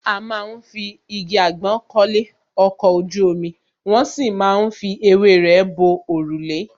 A má ń fi igi àgbọn kọ́lé, ọkọ̀ ojú omi, wón sì má ń fi ewé rẹ bo òrùlé